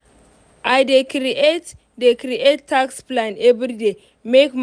i dey create dey create task plan everyday make